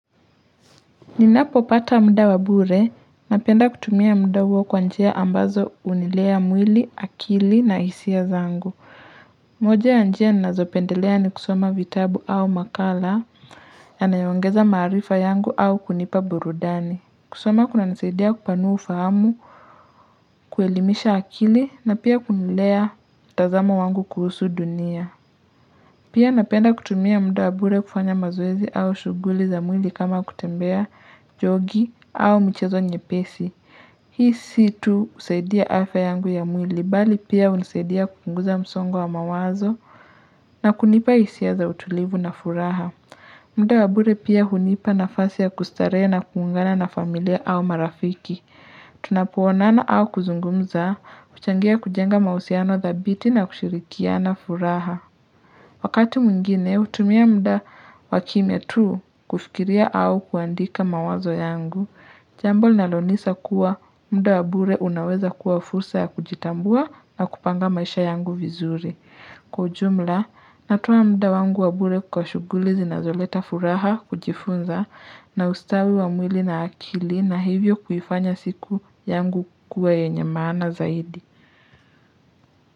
Ninapopata muda wa bure, napenda kutumia muda huo kwa njia ambazo hunilea mwili, akili na hisia zangu. Moja ya njia nazopendelea ni kusoma vitabu au makala yanayo ongeza maarifa yangu au kunipa burudani. Kusoma kunanisaidia kupanua ufahamu, kuelimisha akili na pia kunilea mtazamo wangu kuhusu dunia. Pia napenda kutumia muda wa bure kufanya mazoezi au shughuli za mwili kama kutembea jogi au michezo nyepesi. Hii si tu kusaidia afya yangu ya mwili bali pia hunisaidia kupunguza msongo wa mawazo na kunipa hisia za utulivu na furaha. Muda wa bure pia hunipa nafasi ya kustarehe na kuungana na familia au marafiki. Tunapoonana au kuzungumza, huchangia kujenga mahusiano dhabiti na kushirikiana furaha. Wakati mwingine hutumia muda wa kimya tu kufikiria au kuandika mawazo yangu, jambo linalonisa kuwa muda wa bure unaweza kuwa fursa ya kujitambua na kupanga maisha yangu vizuri. Kwa ujumla, natoa muda wangu wa bure kwa shughuli zinazoleta furaha kujifunza na ustawi wa mwili na akili na hivyo kuifanya siku yangu kuwa yenye maana zaidi.